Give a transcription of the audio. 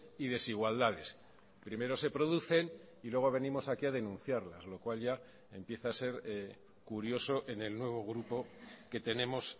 y desigualdades primero se producen y luego venimos aquí a denunciarlas lo cual ya empieza a ser curioso en el nuevo grupo que tenemos